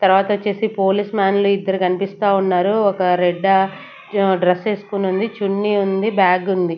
తర్వాతొచ్చేసి police మ్యాన్లే ఇద్దరు కన్పిస్తా ఉన్నారు ఒక రెడ్డా డ్రెస్ ఎస్కోనుంది చున్నీ ఉంది బ్యాగ్ ఉంది.